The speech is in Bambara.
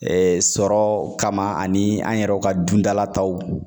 sɔrɔ kama ani an yɛrɛ ka dundala taw.